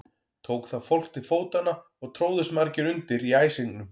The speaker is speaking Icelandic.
Tók þá fólk til fótanna og tróðust margir undir í æsingnum.